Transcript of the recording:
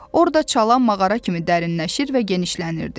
Orada çala mağara kimi dərinləşir və genişlənirdi.